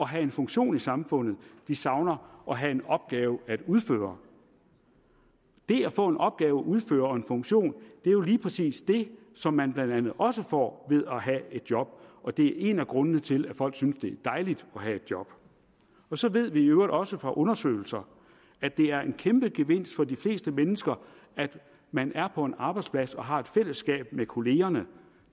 have en funktion i samfundet de savner at have en opgave at udføre det at få en opgave at udføre og få en funktion er jo lige præcis det som man blandt andet også får ved at have et job og det er en af grundene til at folk synes det er dejligt at have et job og så ved vi i øvrigt også fra undersøgelser at det er en kæmpe gevinst for de fleste mennesker at man er på en arbejdsplads og har et fællesskab med kollegerne